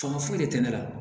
Fanga foyi de tɛ ne la